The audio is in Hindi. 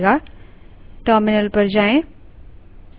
terminal पर जाएँ